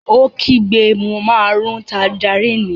Ó kígbe mo máa rún tanjarínnì!